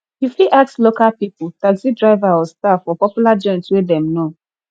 you fit ask local pipo taxi driver or staff for popular joint wey dem know